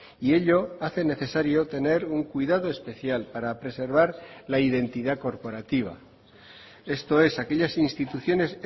y ello hace necesario tener un cuidado especial para preservar la identidad corporativa esto es aquellas instituciones